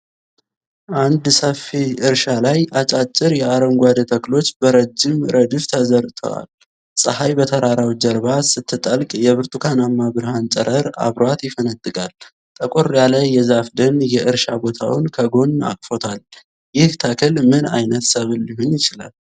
አንድ ሰፊ እርሻ ላይ አጫጭር የአረንጓዴ ተክሎች በረጅም ረድፍ ተዘርተዋል። ። ፀሐይ በተራራው ጀርባ ስትጠልቅ የብርቱካናማ ብርሃን ጨረር አብሯት ይፈነጥቃል። ጠቆር ያለ የዛፍ ደን የእርሻ ቦታውን ከጎን አቅፎታል። ይህ ተክል ምን ዓይነት ሰብል ሊሆን ይችላል?